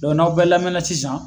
n'aw bɛɛ lamɛnna sisan